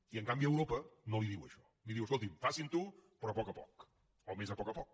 i en canvi europa no li diu això li diu escoltin facinho però a poc a poc o més a poc a poc